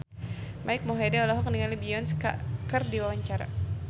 Mike Mohede olohok ningali Beyonce keur diwawancara